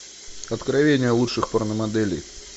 откровения лучших порномоделей